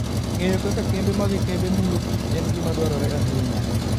Ng'eyo kaka kembe mag kembe mulo kich en gima dwarore ahinya.